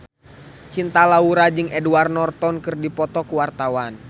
Cinta Laura jeung Edward Norton keur dipoto ku wartawan